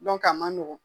a man nɔgɔn